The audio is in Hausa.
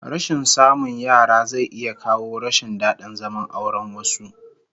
Rashin samun yara zai iya kawo rashin dadin zaman auren wasu